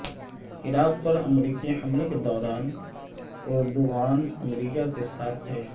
عراق پر امریکی حملے کے دوران اردوغان امریکہ کے ساتھ تھے